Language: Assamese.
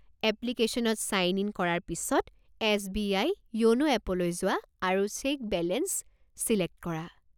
এপ্লিকেশ্যনত ছাইন ইন কৰাৰ পিছত, এছ.বি.আই. য়োনো এপলৈ যোৱা আৰু চেক বেলেঞ্চ ছিলেক্ট কৰা।